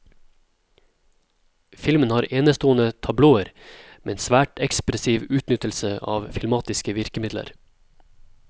Filmen har enestående tablåer med en svært ekspressiv utnyttelse av filmatiske virkemidler.